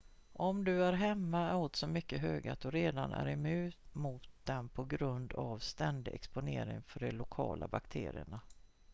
om du är hemma är oddsen mycket höga att du redan är immun mot dem på grund av ständig exponering för de lokala bakterierna